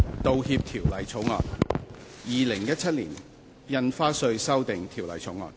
《道歉條例草案》《2017年印花稅條例草案》。